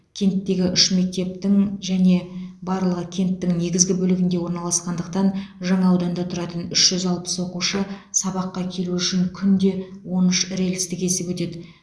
кенттегі үш мектептің және барлығы кенттің негізгі бөлігінде орналасқандықтан жаңа ауданда тұратын үш жүз алпыс оқушы сабаққа келу үшін күнде он үш рельсті кесіп өтеді